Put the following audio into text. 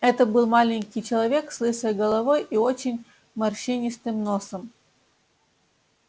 это был маленький человек с лысой головой и очень морщинистым носом